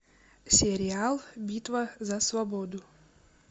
сериал битва за свободу